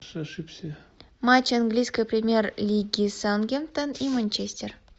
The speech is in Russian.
матч английской премьер лиги саутгемптон и манчестер